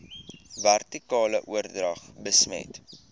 vertikale oordrag besmet